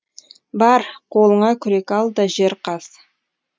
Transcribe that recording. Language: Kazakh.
бар қолыңа күрек ал да жер қаз